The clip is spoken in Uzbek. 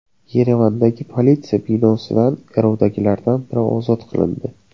Yerevandagi politsiya binosidan garovdagilardan biri ozod qilindi.